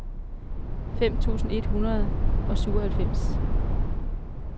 fem tusind et hundrede og syvoghalvfems